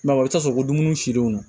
a bɛ taa sɔrɔ ko dumuni sirilen don